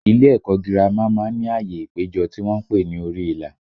Ilé ẹ̀kọ́ gírámà má ń ní ààyè ìpéjọ tí wọ́n ń pè ní orí ìlà